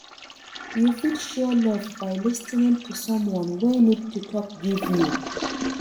You fit show love by lis ten ing to someone wey need to talk give you.